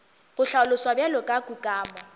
go hlaloswa bjalo ka kukamo